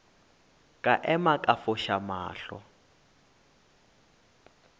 ka ema ka foša mahlo